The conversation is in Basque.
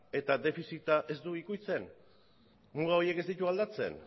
eta defizita ez du ukitzen muga horiek ez ditu aldatzen